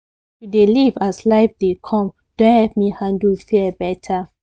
to dey live as life de come don help me handle fear better